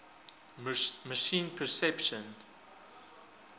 machine perception